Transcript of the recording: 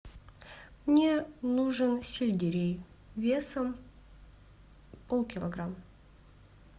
мне нужен сельдерей весом полкилограмма